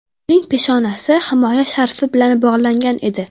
Uning peshanasi himoya sharfi bilan bog‘langan edi.